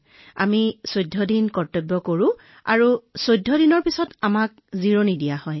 আমি ১৪ দিনৰ কৰ্তব্য কৰোঁ আৰু ১৪ দিনৰ পিছত আমাক বিশ্ৰাম দিয়া হয়